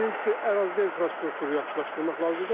Birincisi, ərazidə infrastruktur yaxşılaşdırmaq lazımdır.